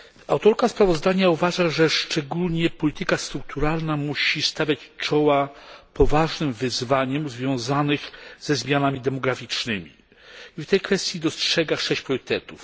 Autorka sprawozdania uważa, że szczególnie polityka strukturalna musi stawiać czoła poważnym wyzwaniom związanym ze zmianami demograficznymi i w tej kwestii dostrzega 6 priorytetów.